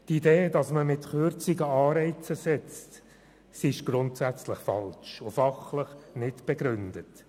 Die Idee, mit Kürzungen Anreize zu schaffen, ist grundsätzlich falsch und fachlich nicht begründet.